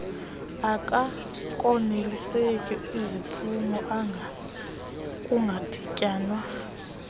akakoneliseki ziziphumo kungadityanwa